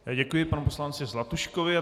Děkuji panu poslanci Zlatuškovi.